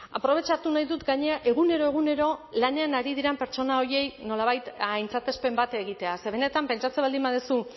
aprobetxatu nahi dut gainera egunero egunero lanean ari diren pertsona horiei nolabait aintzatespen bat egitea ze benetan pentsatzen baldin baduzu